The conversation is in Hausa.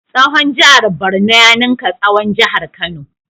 Tsawon jihar Borno ya ninka tsawon jihar Kano.